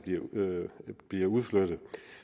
bliver udflyttet